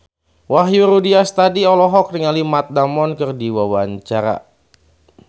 Wahyu Rudi Astadi olohok ningali Matt Damon keur diwawancara